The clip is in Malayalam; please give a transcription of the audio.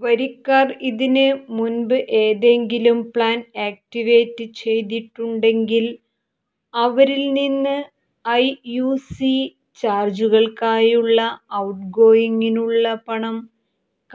വരിക്കാർ ഇതിന് മുൻപ് ഏതെങ്കിലും പ്ലാൻ ആക്ടിവേറ്റ് ചെയ്തിട്ടുണ്ടെങ്കിൽ അവരിൽ നിന്ന് ഐയുസി ചാർജുകൾക്കായുള്ള ഔട്ട്ഗോയിംഗിനുള്ള പണം